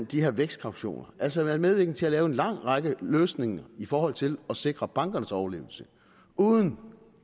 de her vækstkautioner og altså har været med til at lave en lang række løsninger i forhold til at sikre bankernes overlevelse uden